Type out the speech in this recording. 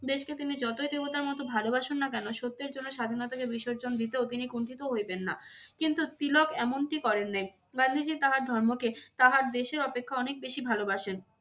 দেশকে তিনি যতই দেবতার মত ভালবাসুন না কেন, সত্যের জন্য স্বাধীনতা থেকে বিসর্জন দিতেও তিনি কুণ্ঠিত হইবেন না। কিন্তু তিলক এমনটি করেন নাই গান্ধীজী তাহার ধর্মকে তাহার দেশের অপেক্ষা অনেক বেশি ভালোবাসেন।